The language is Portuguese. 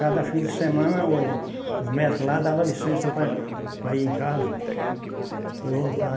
Cada fim de semana, o os médicos lá davam licença para para ir em casa e voltar.